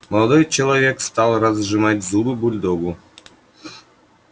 молодой человек стал разжимать зубы бульдогу